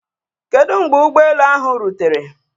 Kedu mgbe ụgbọ elu ahụ rutere?